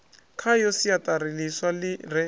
khayo siaṱari ḽiswa ḽi re